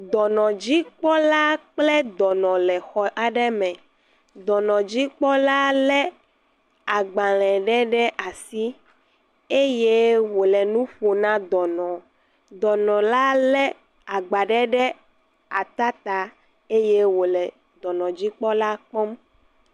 Dɔnɔdzikpɔla kple dɔnɔ le xɔ aɖe me. Dɔnɔdzikpɔ lé agbalẽ ɖe ɖe asi eye wòle nu ƒom na dɔnɔ. Dɔnɔ la lé agba ɖe ɖe ata ta eye wòle dɔnɔdzikpɔla kpɔm.